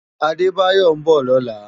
Adebayo n bò lòlá